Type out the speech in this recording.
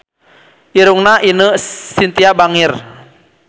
Irungna Ine Shintya bangir